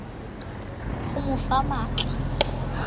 ho mo fa matl a